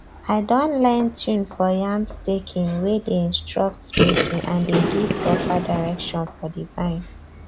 i don learn tune for yam staking wey dey instructs spacing and dey give proper direction for the vine